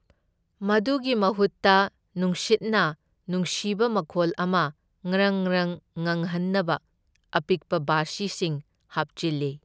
ꯃꯗꯨꯒꯤ ꯃꯍꯨꯠꯇ ꯅꯨꯡꯁꯤꯠꯅ ꯅꯨꯡꯁꯤꯕ ꯃꯈꯣꯜ ꯑꯃ ꯉ꯭ꯔꯪ ꯉ꯭ꯔꯪ ꯉꯪꯍꯟꯅꯕ ꯑꯄꯤꯛꯄ ꯕꯥꯁꯤꯁꯤꯡ ꯍꯥꯞꯆꯤꯜꯂꯤ꯫